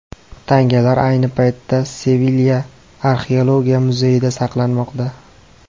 Tangalar ayni paytda Sevilya Arxeologiya muzeyida saqlanmoqda.